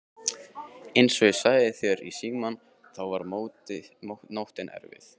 Einsog ég sagði þér í símann þá var nóttin erfið.